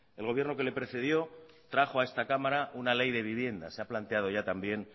el gobierno que le precedió trajo a esta cámara una ley de vivienda se ha planteado ya también